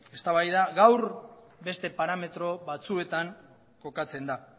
gaur beste parametro batzuetan jokatzen da